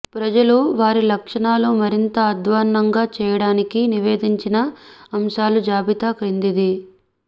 ప్రజలు వారి లక్షణాలను మరింత అధ్వాన్నంగా చేయడానికి నివేదించిన అంశాల జాబితా క్రిందిది